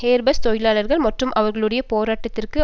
Airbus தொழிலாளர்கள் மற்றும் அவர்களுடைய போராட்டத்திற்கு